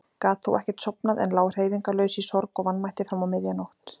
Gat þó ekkert sofnað en lá hreyfingarlaus í sorg og vanmætti fram á miðja nótt.